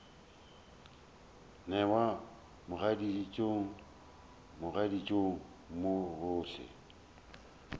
newa mogaditšong mogaditšong mo gohle